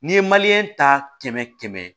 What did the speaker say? N'i ye ta kɛmɛ kɛmɛ